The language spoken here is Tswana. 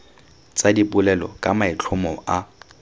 tsa dipolelo ka maitlhomo a